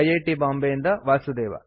T Bombay ಯಿಂದ ವಾಸುದೇವ